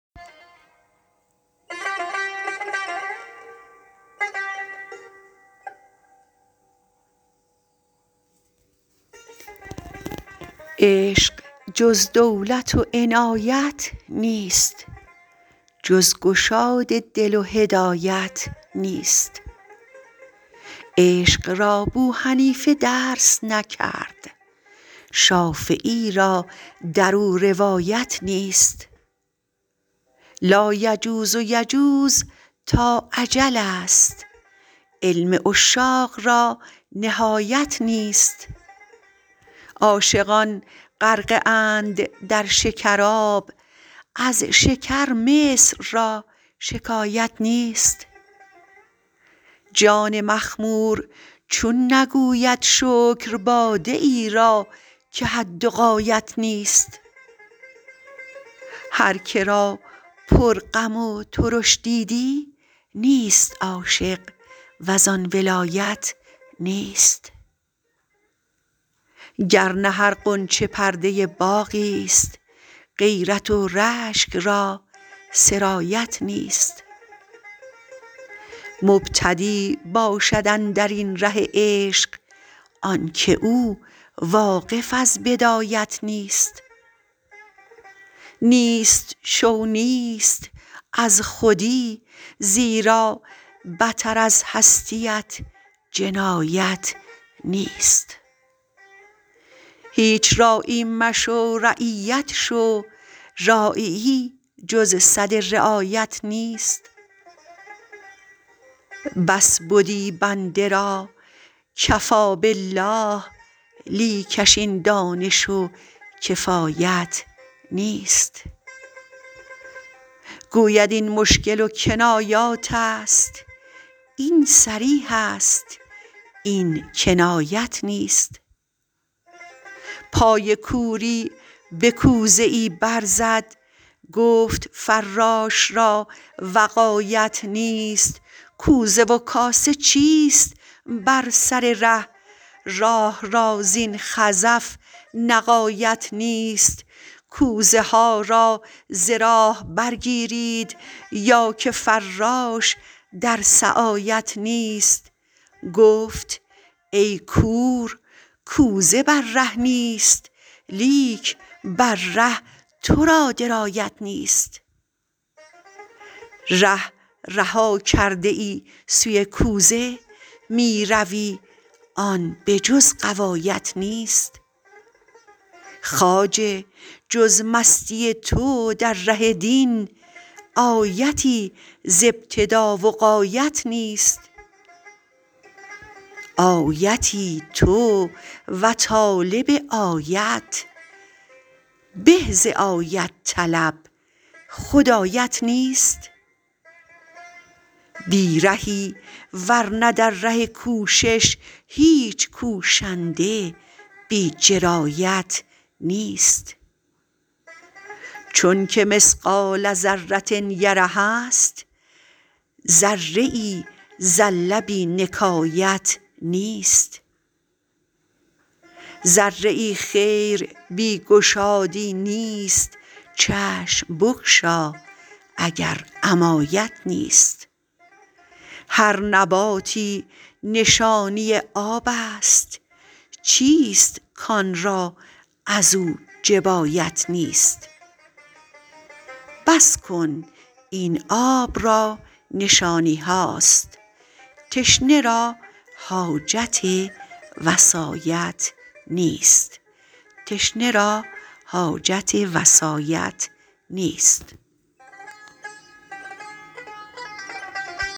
عشق جز دولت و عنایت نیست جز گشاد دل و هدایت نیست عشق را بوحنیفه درس نکرد شافعی را در او روایت نیست لایجوز و یجوز تا اجل ست علم عشاق را نهایت نیست عاشقان غرقه اند در شکراب از شکر مصر را شکایت نیست جان مخمور چون نگوید شکر باده ای را که حد و غایت نیست هر که را پرغم و ترش دیدی نیست عاشق و زان ولایت نیست گر نه هر غنچه پرده باغی ست غیرت و رشک را سرایت نیست مبتدی باشد اندر این ره عشق آنک او واقف از بدایت نیست نیست شو نیست از خودی زیرا بتر از هستیت جنایت نیست هیچ راعی مشو رعیت شو راعیی جز سد رعایت نیست بس بدی بنده را کفی بالله لیکش این دانش و کفایت نیست گوید این مشکل و کنایاتست این صریح است این کنایت نیست پای کوری به کوزه ای برزد گفت فراش را وقایت نیست کوزه و کاسه چیست بر سر ره راه را زین خزف نقایت نیست کوزه ها را ز راه برگیرید یا که فراش در سعایت نیست گفت ای کور کوزه بر ره نیست لیک بر ره تو را درایت نیست ره رها کرده ای سوی کوزه می روی آن به جز غوایت نیست خواجه جز مستی تو در ره دین آیتی ز ابتدا و غایت نیست آیتی تو و طالب آیت به ز آیت طلب خود آیت نیست بی رهی ور نه در ره کوشش هیچ کوشنده بی جرایت نیست چونک مثقال ذره یره است ذره زله بی نکایت نیست ذره خیر بی گشادی نیست چشم بگشا اگر عمایت نیست هر نباتی نشانی آب است چیست کان را از او جبایت نیست بس کن این آب را نشانی هاست تشنه را حاجت وصایت نیست